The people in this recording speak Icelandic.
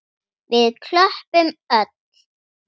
Við klöppum öll.